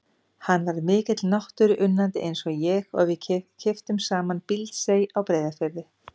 Hann var mikill náttúruunnandi eins og ég og við keyptum saman Bíldsey á Breiðafirði.